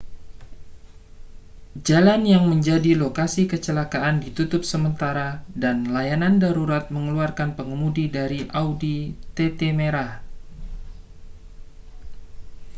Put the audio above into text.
jalan yang menjadi lokasi kecelakaan ditutup sementara dan layanan darurat mengeluarkan pengemudi dari audi tt merah